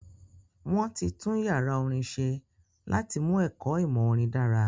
Wọ́n ti tún yàrá orin ṣe láti mú ẹ̀kọ ìmọ̀ orin dára